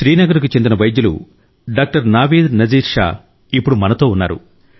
శ్రీనగర్ కు చెందిన వైద్యులు డాక్టర్ నావీద్ నజీర్ షా ఇప్పుడు మనతో ఉన్నారు